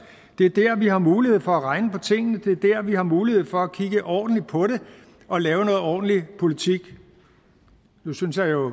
det er der vi har mulighed for at regne på tingene det er der vi har mulighed for at kigge ordentligt på det og lave noget ordentlig politik nu synes jeg jo